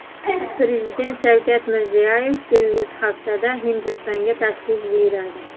Prezident Shavkat Mirziyoyev kelgusi haftada Hindistonga tashrif buyuradi.